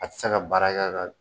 A tɛ se ka baara kɛ ka